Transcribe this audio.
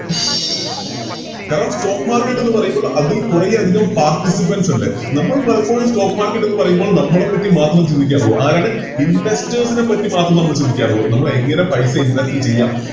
കാരണം Stock market എന്ന് പറയുമ്പോ അതിൽ കുറെ അതികം Participants ഉണ്ട് നമ്മൾ പലപ്പോഴും Stock market എന്ന് പറയുമ്പോൾ നമ്മളെ പറ്റി മാത്രം ചിന്തിക്കാറുള്ളു ആരാണ് Investors നെ പറ്റി മാത്രം നമ്മള് ചിന്തിക്കാറുള്ളു നമ്മള് എങ്ങനെ പൈസ Invest ചെയ്യാം